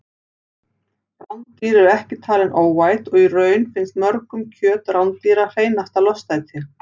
Rándýr eru ekki talin óæt og í raun finnst mörgum kjöt rándýra hreinasta lostæti.